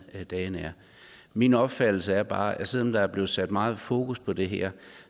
dagen er min opfattelse er bare at selv om der er blevet sat meget fokus på det her